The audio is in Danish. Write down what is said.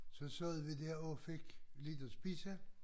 Så sad vi der og fik lidt at spise